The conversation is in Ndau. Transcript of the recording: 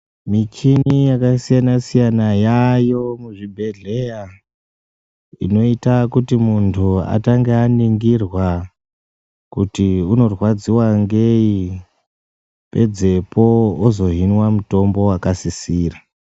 Michini yakasiyana siyana yaayo muzvibhedhlera inota kuti muntu atange aningirwa kuti unorwadziwa ngei pedzepo ozohinwa mutombo wakasisira.